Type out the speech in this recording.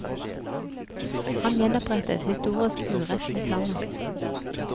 Han gjenopprettet historisk urett mot landet.